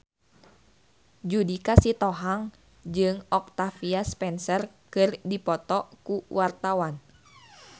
Judika Sitohang jeung Octavia Spencer keur dipoto ku wartawan